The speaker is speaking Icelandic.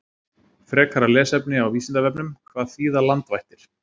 Frekara lesefni á Vísindavefnum: Hvað þýða landvættir?